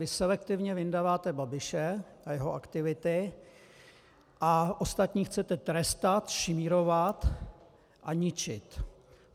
Vy selektivně vyndaváte Babiše a jeho aktivity a ostatní chcete trestat, šmírovat a ničit.